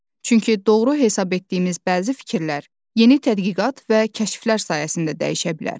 Çünki doğru hesab etdiyimiz bəzi fikirlər yeni tədqiqat və kəşflər sayəsində dəyişə bilər.